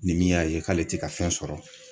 Ni min y'a ye k'ale te ka fɛn sɔrɔ